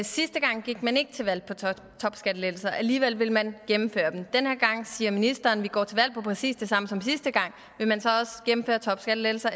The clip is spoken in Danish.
sidste gang gik man ikke til valg på topskattelettelser alligevel ville man gennemføre dem den her gang siger ministeren at de går til valg på præcis det samme som sidste gang vil man så også gennemføre topskattelettelser